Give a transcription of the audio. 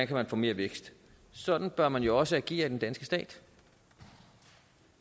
kan få mere vækst sådan bør man jo også agere i den danske stat